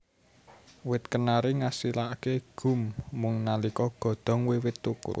Wit kenari ngasilaké gum mung nalika godhong wiwit thukul